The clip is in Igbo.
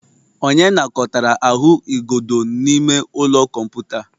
Onye nakọtara ahụigodo n'ime ụlọ kọmputa?